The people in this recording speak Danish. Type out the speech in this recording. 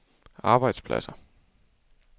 arbejdspladser